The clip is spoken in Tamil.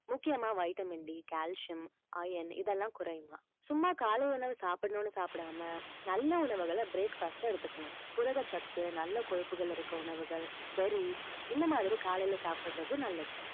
முக்கியமா vitamin D calcium iron இதெல்லாம் குறையுமாம் சும்மா காலை உணவு சாப்பிடணும்னு சாப்பிடாம நல்ல உணவுகளை breakfast ல எடுத்துக்கணும் புரதச் சத்து நல்ல கொழுப்புகள் இருக்கிற உணவுகள் berries இந்த மாதிரி காலையில சாப்பிடுறது நல்லது